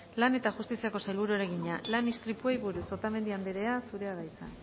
lan eta justiziako sailburuari egina lan istripuei buruz otamendi andrea zurea da hitza